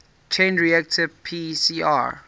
chain reaction pcr